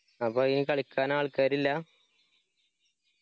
അപ്പൊ അയിന് കളിക്കാൻ ആൾക്കാരില്ല?